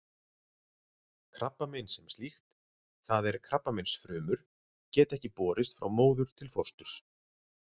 Krabbamein sem slíkt, það er krabbameinsfrumur, geta ekki borist frá móður til fósturs.